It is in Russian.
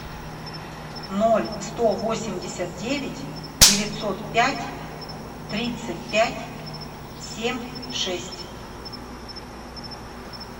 ноль сто восемьдесят девять девятьсот пять тридцать пять семь шесть